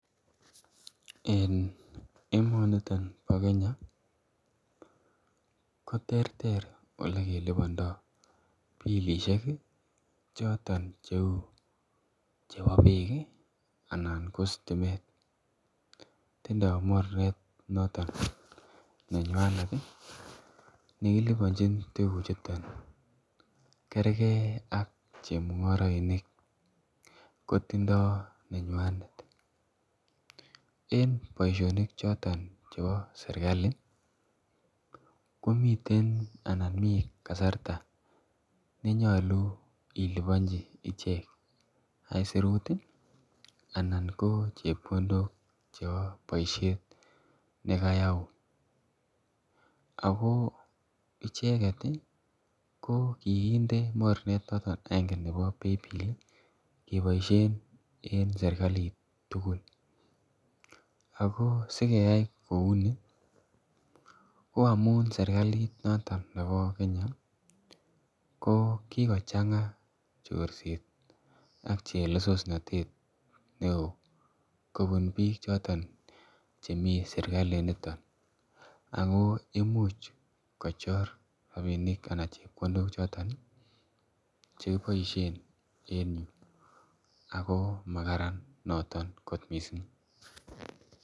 En emoniton nyon nebo Kenya koterter yekelupanda pilisiek chebo bek. Tindo mornet noton nenywanet ih nekilubanchin tukuchuton kerge ak chemung'arainik, kotindo nenywanet akichek en boisionik choton chebo serkali, komiten anan mi kasarta nenyalu ilubanchi ichek aisurut anan ko chebkondok ak boisiet boisiet nekayaun, ako icheket ih ko kikinde mornet yoton neba paybill ih , kobaisien en serkalit tugul ago sikeyai kouni ko amuun serkalit noton nebo Kenya ko kikochang'a chorset ak chelesosnatet neo. Kobun bik choton che sirkalit nito Ako imuch kochor rabinik choton chekiboisien en yu ako makararan noto kot missing.